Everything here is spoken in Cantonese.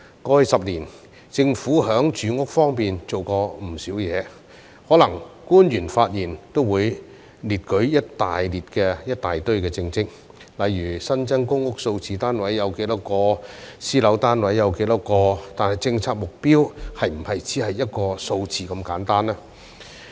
過去10年，政府在住屋方面做過不少事情，可能官員發言也會列舉一大堆政績，例如新增公屋單位有多少個，私樓單位有多少個，但政策目標是否只是一個數字如此簡單呢？